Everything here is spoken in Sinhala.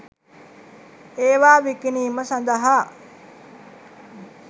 ඒවා විකිණීම සඳහා